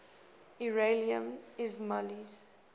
iranian ismailis